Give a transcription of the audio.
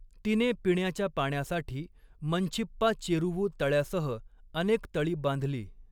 तिने पिण्याच्या पाण्यासाठी मंछिप्पा चेरुवू तळ्यासह अनेक तळी बांधली.